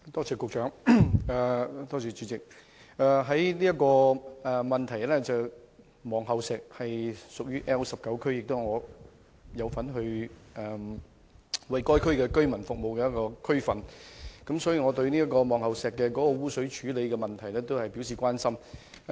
這項質詢涉及的望后石位於 L19 選區，是我所服務的地區之一，所以我對望后石污水處理問題表示關心。